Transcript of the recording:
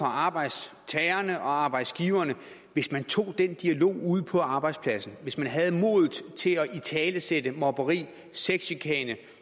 arbejdstagere og arbejdsgivere hvis man tog den dialog ude på arbejdspladsen hvis man havde modet til at italesætte mobning sexchikane